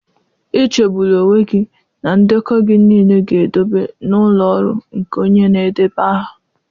Echegbula onwe gị na ndekọ gị niile ga-edobe n'ụlọ ọrụ nke onye na-edeba aha.